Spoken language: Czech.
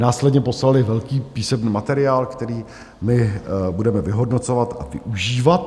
Následně poslali velký písemný materiál, který my budeme vyhodnocovat a využívat.